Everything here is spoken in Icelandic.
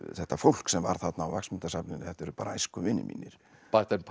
þetta fólk sem var þarna á þetta eru bara æskuvinir mínir